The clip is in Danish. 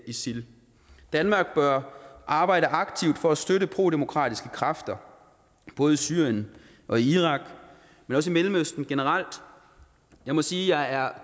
isil danmark bør arbejde aktivt for at støtte prodemokratiske kræfter både i syrien og i irak men også i mellemøsten generelt jeg må sige at jeg er